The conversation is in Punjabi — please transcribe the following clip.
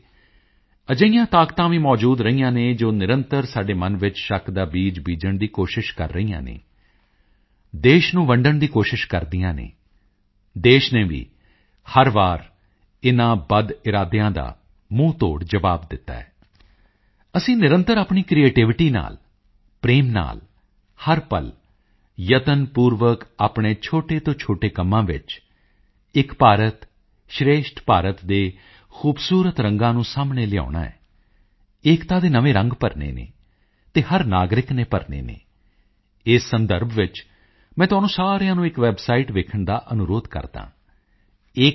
ਵੈਸੇ ਅਜਿਹੀਆਂ ਤਾਕਤਾਂ ਵੀ ਮੌਜੂਦ ਰਹੀਆਂ ਹਨ ਜੋ ਨਿਰੰਤਰ ਸਾਡੇ ਮਨ ਵਿੱਚ ਸ਼ੱਕ ਦਾ ਬੀਜ ਬੀਜਣ ਦੀ ਕੋਸ਼ਿਸ਼ ਕਰਦੀਆਂ ਰਹੀਆਂ ਹਨ ਦੇਸ਼ ਨੂੰ ਵੰਡਣ ਦੀ ਕੋਸ਼ਿਸ਼ ਕਰਦੀਆਂ ਹਨ ਦੇਸ਼ ਨੇ ਵੀ ਹਰ ਵਾਰ ਇਨ੍ਹਾਂ ਬਦਇਰਾਦਿਆਂ ਦਾ ਮੂੰਹਤੋੜ ਜਵਾਬ ਦਿੱਤਾ ਹੈ ਅਸੀਂ ਨਿਰੰਤਰ ਆਪਣੀ ਕ੍ਰਿਏਟੀਵਿਟੀ ਨਾਲ ਪ੍ਰੇਮ ਨਾਲ ਹਰ ਪਲ ਯਤਨਪੂਰਵਕ ਆਪਣੇ ਛੋਟੇ ਤੋਂ ਛੋਟੇ ਕੰਮਾਂ ਵਿੱਚ ਏਕ ਭਾਰਤ ਸ਼੍ਰੇਸ਼ਠ ਭਾਰਤ ਦੇ ਖੂਬਸੂਰਤ ਰੰਗਾਂ ਨੂੰ ਸਾਹਮਣੇ ਲਿਆਉਣਾ ਹੈ ਏਕਤਾ ਦੇ ਨਵੇਂ ਰੰਗ ਭਰਨੇ ਹਨ ਅਤੇ ਹਰ ਨਾਗਰਿਕ ਨੇ ਭਰਨੇ ਹਨ ਇਸ ਸੰਦਰਭ ਵਿੱਚ ਮੈਂ ਤੁਹਾਨੂੰ ਸਾਰਿਆਂ ਨੂੰ ਇੱਕ ਵੈਬਸਾਈਟ ਵੇਖਣ ਦਾ ਅਨੁਰੋਧ ਕਰਦਾ ਹਾਂ ekbharat